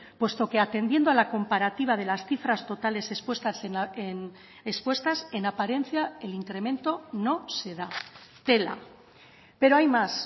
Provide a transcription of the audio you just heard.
puesto que atendiendo a la comparativa de las cifras totales expuestas en apariencia el incremento no se da tela pero hay más